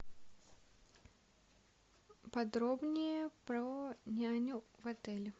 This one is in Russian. подробнее про няню в отеле